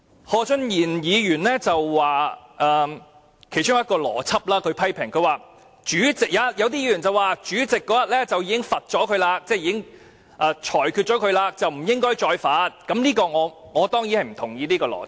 何俊賢議員發言批評的其中一項邏輯，是有議員表示主席那天已對鄭松泰議員作出懲罰或裁決，不應再罰，他不認同這種邏輯。